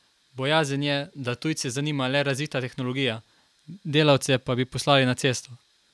Bojazen je, da tujce zanima le razvita tehnologija, delavce pa bi poslali na cesto.